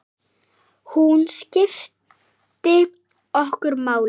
Hún skipti okkur máli.